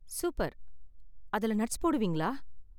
Super! அதுல nuts போடுவீங்களா?